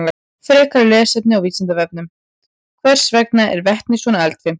Frekara lesefni á Vísindavefnum: Hvers vegna er vetni svona eldfimt?